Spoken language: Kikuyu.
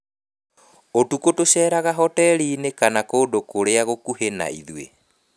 Ũtukũ tũceeraga hoteri-inĩ kana kũndũ kũngĩ gũkuhĩ na ithuĩ.